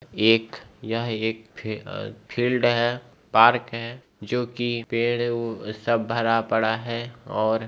एक यह एक फी अ फील्ड है पार्क है जो कि पेड़ वो सब भरा पड़ा है और --